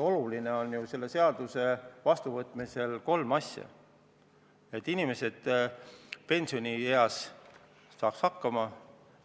Oluline on ju selle seaduse vastuvõtmisel kolm asja: et inimesed saaksid pensionieas hakkama;